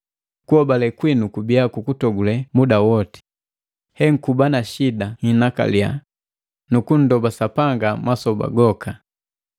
Kuhobale kwinu kubia kukutogule muda woti, henkuba na shida nhinakalia, nukunndoba Sapanga masoba woka.